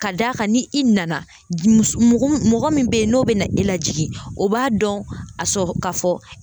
Ka d'a kan ni i nana s mɔgɔ m mɔgɔ min be ye n'o bɛ na e lajigin o b'a dɔn a sɔ ka fɔ